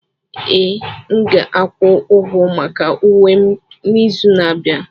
Ee, m ga-akwụ ụgwọ maka uwe m n'izu na-abịa.